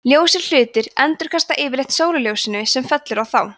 ljósir hlutir endurkasta yfirleitt sólarljósinu sem fellur á þá